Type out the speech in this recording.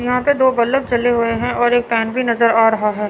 यहां पर दो बल्फ जले हुए हैं और एक फैन भी नजर आ रहा है।